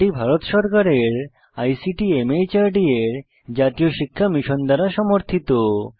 এটি ভারত সরকারের ICT MHRD এর জাতীয় শিক্ষা মিশন দ্বারা সমর্থিত